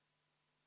Siim Pohlak, palun!